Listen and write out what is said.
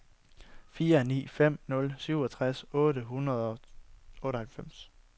fire ni fem nul syvogtres otte hundrede og otteoghalvfems